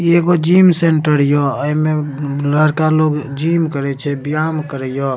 इ एगो gym centre य एमे लड़का लोग जीम करे छै व्यायाम करे य --